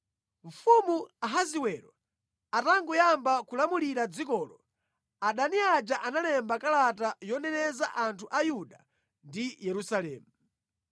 Mfumu Ahasiwero atangoyamba kulamulira dzikolo, adani aja analemba kalata yoneneza anthu a Yuda ndi Yerusalemu.